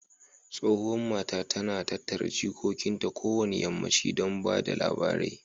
Tsohuwan mata, ta na tattara jikokin ta kowane yammanchi don ba da labarai.